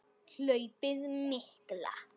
Hlaupið mikla